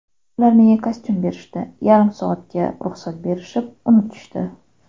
Ular menga kostyum berishdi, yarim soatga ruxsat berishib, unutishdi.